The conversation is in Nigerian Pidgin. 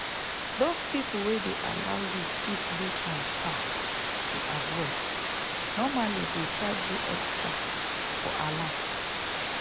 those people wey dey allow u fit do transfer to abroad normally go charge u extra for alert